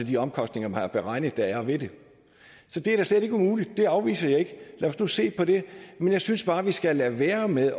de omkostninger man har beregnet der er ved det så det er da slet ikke umuligt det afviser jeg ikke lad os nu se på det men jeg synes bare at vi skal lade være med